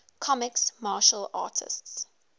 comics martial artists